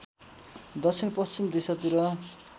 दक्षिण पश्चिम दिशातिर